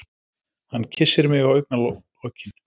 Hann kyssir mig á augnalokin.